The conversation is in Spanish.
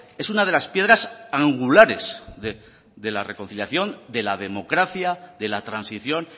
es una de las piedras angulares de la reconciliación de la democracia de la transición